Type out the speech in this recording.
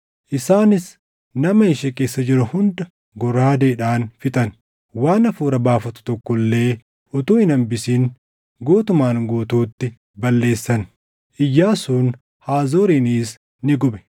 Isaanis nama ishee keessa jiru hunda goraadeedhaan fixan. Waan hafuura baafatu tokko illee utuu hin hambisin guutumaan guutuutti balleessan; Iyyaasuun Haazoorinis ni gube.